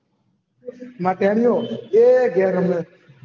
માર તેડયો અએ ઘેર રહે